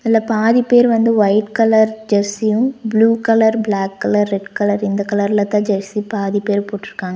இதுல பாதி பேர் வந்து ஒயிட் கலர் ஜெஸ்ஸியு blue colour black colour red colour இந்த கலர்ல தான் ஜெஸ்ஸி பாதி பேர் போட்ருக்காங்க.